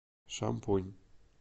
шампунь